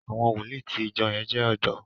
àwọn wòlíì tí ìjọ yén jé odò